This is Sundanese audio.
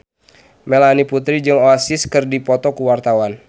Melanie Putri jeung Oasis keur dipoto ku wartawan